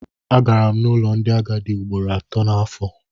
Agara n'ụlọ ndị agadi ugboro atọ n'afọ.